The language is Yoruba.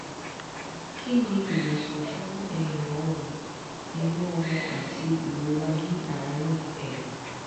kí ni ìwòsàn fún ẹ̀yìn ọrùn inú ọmọ àti ìrora ní àárín ẹ̀yìn?